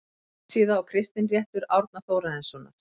Járnsíða og Kristinréttur Árna Þórarinssonar